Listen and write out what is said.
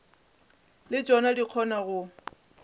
le tšona di kgona go